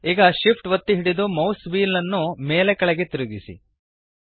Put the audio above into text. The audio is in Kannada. ಈಗ SHIFT ಒತ್ತಿ ಹಿಡಿದು ಮೌಸ್ನ ವ್ಹೀಲ್ ನ್ನು ಮೇಲೆ ಕೆಳಗೆ ತಿರುಗಿಸಿ